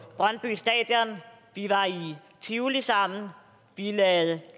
brøndby stadion vi var i tivoli sammen vi lavede